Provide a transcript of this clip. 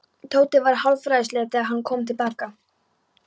Tóti var hálfræfilslegur þegar hann kom til baka.